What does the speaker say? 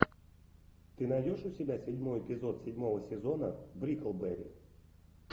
ты найдешь у себя седьмой эпизод седьмого сезона бриклберри